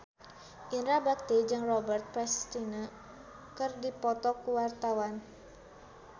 Indra Bekti jeung Robert Pattinson keur dipoto ku wartawan